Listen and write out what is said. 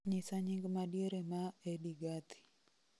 nyisa nying madiere ma edie gathie